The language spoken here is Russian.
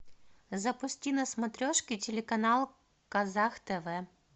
запусти на смотрешке телеканал казах тв